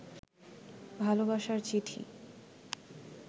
ভালবাসার চিঠি